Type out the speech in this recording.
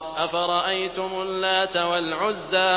أَفَرَأَيْتُمُ اللَّاتَ وَالْعُزَّىٰ